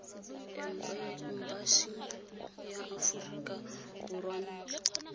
embasing ya aforika borwa ntlo